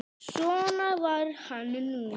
Svona var hann nú.